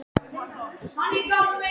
Þurfti hann endilega að komast upp á topp?